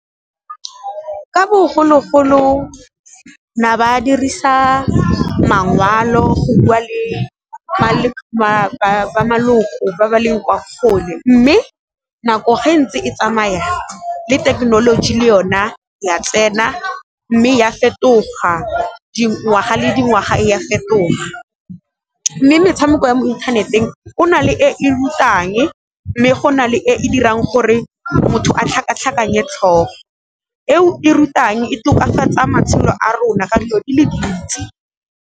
Ka bogologolo na ba dirisa mangwalo go bua le ba maloko ba ba leng kwa kgole, mme nako ge e ntse e tsamaya le thekenoloji le yona ya tsena mme ya fetoga dingwaga le dingwaga e ya fetoga. Mme metshameko ya mo inthaneteng e na le e e rutang mme go na le e e dirang gore motho a tlhakatlhakanya tlhogo, e o e rutang e tokafatsa matshelo a rona ka dilo di le dintsi.